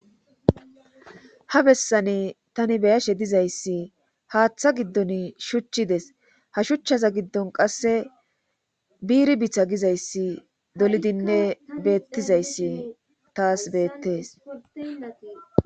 Ha bessani tani beyashe dizayssi haaththa giddon shuchchides ha shuchchaza giddon qasse biiri bitha gizayssi dolidinne beettizayssi taas beettes.